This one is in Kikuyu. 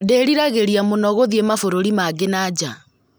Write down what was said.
Ndĩriragĩria mũno gũthiĩ mabũrũri mangĩ na nja